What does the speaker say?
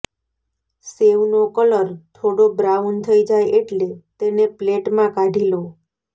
સેવનો colour થોડો brown થઈ જાય એટલે તેને પ્લેટમાં કાઢી લો